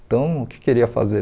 Então, o que que eu iria fazer?